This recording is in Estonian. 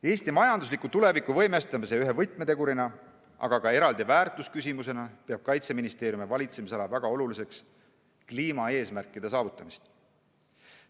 Eesti majandusliku tuleviku võimestamise ühe võtmetegurina, aga ka eraldi väärtusküsimusena peab Kaitseministeeriumi valitsemisala väga oluliseks kliimaeesmärkide saavutamist.